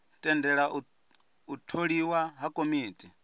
tendela u tholiwa ha komiti